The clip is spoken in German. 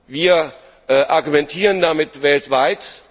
Wir argumentieren damit weltweit.